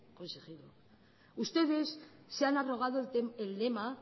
consejero ustedes se han arrogado el lema